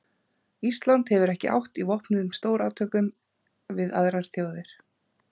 Ísland hefur ekki átt í vopnuðum stórátökum við aðrar þjóðir.